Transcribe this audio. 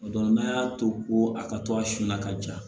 O don n'a y'a to ko a ka to a sun na ka ja